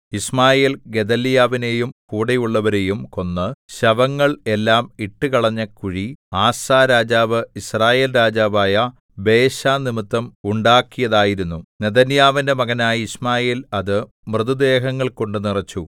യിശ്മായേൽ ഗെദല്യാവിനെയും കൂടെയുള്ളവരെയും കൊന്ന് ശവങ്ങൾ എല്ലാം ഇട്ടുകളഞ്ഞ കുഴി ആസാ രാജാവ് യിസ്രായേൽ രാജാവായ ബയെശനിമിത്തം ഉണ്ടാക്കിയതായിരുന്നു നെഥന്യാവിന്റെ മകനായ യിശ്മായേൽ അത് മൃതദേഹങ്ങൾ കൊണ്ട് നിറച്ചു